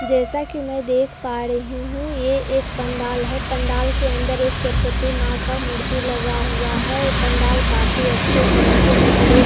जैसा की मैं देख पा रही हूँ ये एक पंडाल है पंडाल के अंदर एक सरस्वती माँ का मूर्ति लगा हुआ है और पंडाल काफ़ी अच्छे तरीके से डेकोरेट किया ।